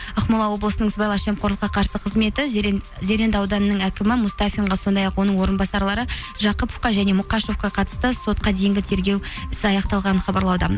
ақмола облысының сыбайлас жемқорлыққа қарсы қызметі зеренді ауданының әкімі мустафинға сондай ақ оның орынбасарлары жақыповқа және мұқашевқа қатысты сотқа дейінгі тергеу ісі аяқталғанын хабарлауда